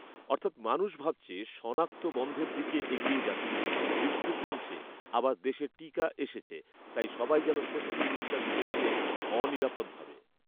অর্থাৎ মানুষ ভাবছে শনাক্ত বন্ধের দিকে এগিয়ে যাচ্ছে, মৃত্যু কমছে আবার দেশে টািকা এসেছে; তাই সবাই যেন স্বস্তির নিঃশ্বাস ফেলছে অনিরাপদভাবে।